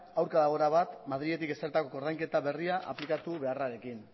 aurka dago erabat madriletik ezarritako koordainketa berria aplikatu beharrarekin